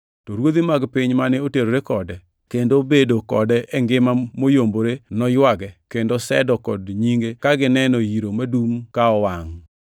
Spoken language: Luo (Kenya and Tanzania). “To ruodhi mag piny mane oterore kode, kendo bedo kode e ngima moyombore noywage kendo sedo kod nyinge ka gineno yiro madum ka owangʼ.